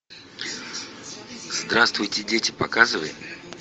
здравствуйте дети показывай